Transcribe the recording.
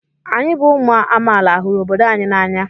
Anyị bụ ụmụ amaala hụrụ obodo anyị n'anya?